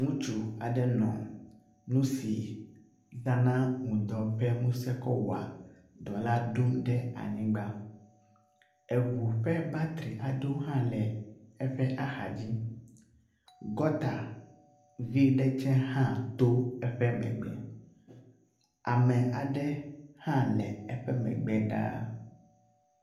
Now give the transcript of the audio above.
Ŋutsu aɖe nɔ nu si zana ŋdɔ ƒe ŋuse kɔ wɔa dɔ la ɖom ɖe anyigba. Eŋu ƒe batri aɖewo hã le eƒe axadzi. Gɔta vɛ̃ ɖe hã to eƒe megbe. Ame aɖe hã le eƒe megbe ɖaa.